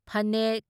ꯐꯅꯦꯛ